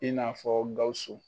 I n'a fɔ Gawusu